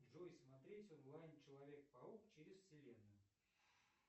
джой смотреть онлайн человек паук через вселенную